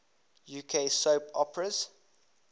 uk soap operas